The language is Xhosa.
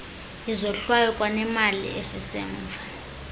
izohlwayo kwanemali esisemva